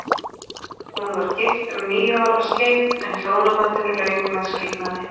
Hún var gift um níu ára skeið, en hjónabandinu lauk með skilnaði.